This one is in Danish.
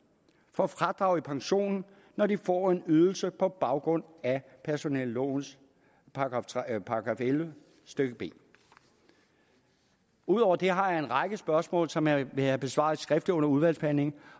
får fradrag i pensionen når de får en ydelse på baggrund af personellovens § elleve stykke b udover det har jeg en række spørgsmål som jeg vil have besvaret skriftligt under udvalgsbehandlingen